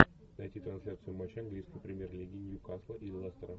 найти трансляцию матча английской премьер лиги ньюкасла и лестера